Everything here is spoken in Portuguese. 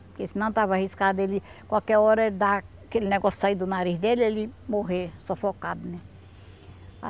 Porque senão estava arriscado ele, qualquer hora, dar aquele negócio sair do nariz dele, ele morrer sufocado,